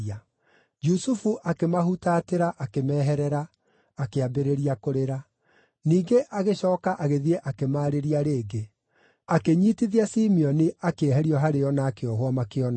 Jusufu akĩmahutatĩra akĩmeherera, akĩambĩrĩria kũrĩra; ningĩ agĩcooka agĩthiĩ akĩmaarĩria rĩngĩ. Akĩnyiitithia Simeoni akĩeherio harĩo na akĩohwo makĩonaga.